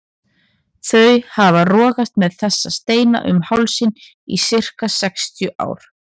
Þau hafa rogast með þessa steina um hálsinn í sirka sextíu ár.